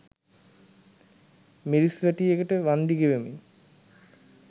මිරිස් වැටියකට වන්දි ගෙවමින්